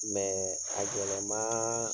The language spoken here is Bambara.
a gɛlɛmaan